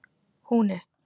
Húni